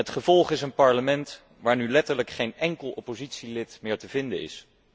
Het gevolg is een parlement waarin nu letterlijk geen enkel oppositielid meer te vinden is.